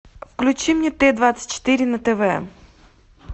включи мне т двадцать четыре на тв